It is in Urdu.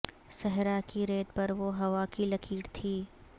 صحرا کی ریت پر وہ ہوا کی لکیر تھی